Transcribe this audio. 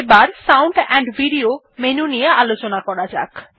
এবার sound AMP video menu নিয়ে আলোচনা করা যাক